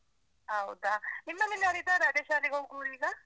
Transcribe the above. ಹೌದಾ? ನಿಮ್ಮನೇಲ್ ಯಾರ್ ಇದರಾ ಅದೇ ಶಾಲೆಗ್ ಹೋಗುವವರು ಈಗ?